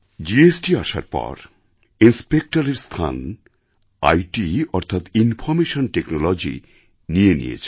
GST আসার পর ইনস্পেকটরের স্থান আইটি অর্থাৎ ইনফরমেশন টেকনোলজি নিয়ে নিয়েছে